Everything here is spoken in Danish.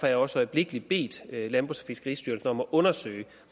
jeg også øjeblikkelig bedt landbrugs og fiskeristyrelsen om at undersøge